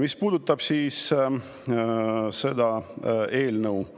Mis puudutab seda eelnõu –